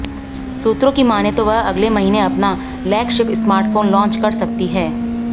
सूत्रों की माने तो वह अगले महीने अपना लैगशिप स्मार्टफोन लॉन्च कर सकती है